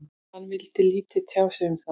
Hann vildi lítið tjá sig um það.